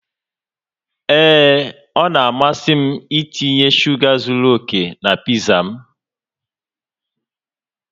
Ee, ọ na-amasị m itinye shuga zuru oke na pizza m